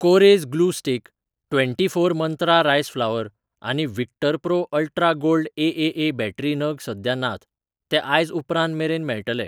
कोरेस glue stick, twenty four Mantra rice flour आनी Victor Pro ultra gold AAA battery नग सद्या नात, ते आयज उपरांत मेरेन मेळटले.